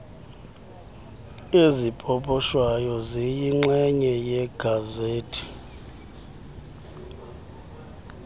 ezipoposhwayo ziyinxenye yegazethi